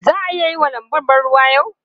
Za a yi wa lanbun ban ruwa yau?